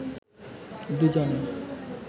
দুজনে